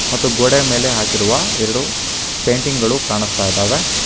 ಮತ್ತು ಗೋಡೆ ಮೇಲೆ ಹಾಕಿರುವ ಎರಡು ಪೇಂಟಿಂಗ್ ಗಳು ಕಾಣಿಸ್ತಾ ಇದಾವೆ.